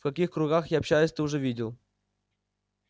в каких кругах я общаюсь ты уже видел